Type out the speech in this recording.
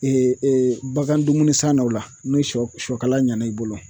bagan dumuni san na o la ni sɔ sɔ kala ɲɛna i bolo